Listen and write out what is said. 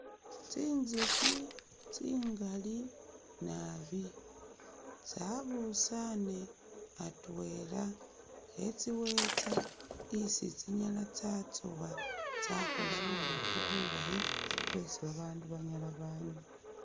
Tsinzukhi tsingali naabi tsabusaane atwela etsiwetsa isi tsinyala tsatsowa tsakhoola bubukhi bulayi bwesi babaandu banyala banywa